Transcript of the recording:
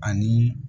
Ani